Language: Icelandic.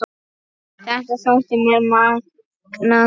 Þetta þótti mér magnað.